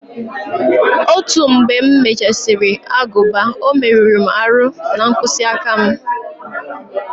Otu mgbe m mechasiri aguba o merụ m aru na mkpịsị aka m